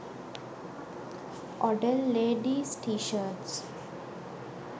odel leadies t shirts